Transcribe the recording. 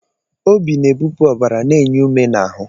Obi na-ebupụ ọbara, na-enye ume na ahụ.